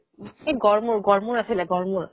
এই গড়মূৰ গড়মূৰ আছিলে গড়মূৰ